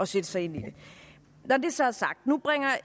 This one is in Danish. sætte sig ind i det nu bringer